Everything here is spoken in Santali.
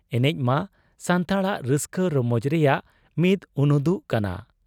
ᱮᱱᱮᱡ ᱢᱟ ᱥᱟᱱᱛᱟᱲᱟᱜ ᱨᱟᱹᱥᱠᱟᱹ ᱨᱚᱢᱚᱡᱽ ᱨᱮᱭᱟᱜ ᱢᱤᱫ ᱩᱱᱩᱫᱩᱜ ᱠᱟᱱᱟ ᱾